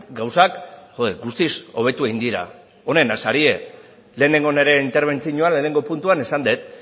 gauzak guztiz hobetu egin dira onenak zarete lehenengo nire interbentzioan lehenengo puntua esan dut